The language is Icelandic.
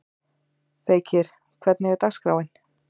Feykir, hvernig er dagskráin?